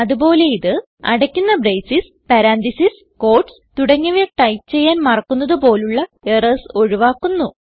അത് പോലെയിത് അടയ്ക്കുന്ന ബ്രേസസ് പരന്തസിസ് ക്യൂട്ടീസ് തുടങ്ങിയവ ടൈപ്പ് ചെയ്യാൻ മറക്കുന്നത് പോലുള്ള എറർസ് ഒഴുവാക്കുന്നു